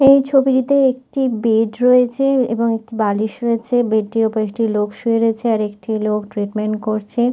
এই ছবিটিতে একটি বেড রয়েছে এবং একটি বালিশ রয়েছেবেড টির ওপরে একটি লোক শুয়ে রয়েছেআর একটি লোক ট্রিটমেন্ট করছে।